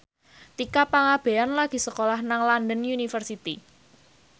Tika Pangabean lagi sekolah nang London University